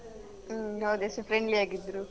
ಮ್ ಹೌದು ಎಷ್ಟು friendly ಆಗಿದ್ರು.